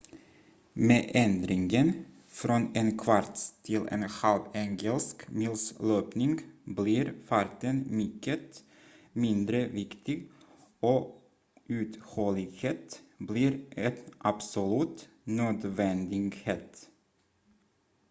med ändringen från en kvarts till en halv engelsk mils löpning blir farten mycket mindre viktig och uthållighet blir en absolut nödvändighet